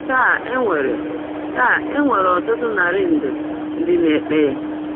Taa e nwere Taa e nwere ọtụtụ narị nde ndị na-ekpe ya.